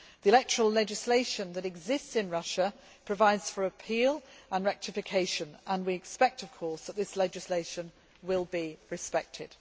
The electoral legislation that exists in Russia provides for appeal and rectification, and we expect of course that this legislation will be respected.